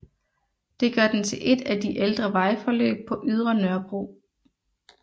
Det gør den til et af de ældre vejforløb på Ydre Nørrebro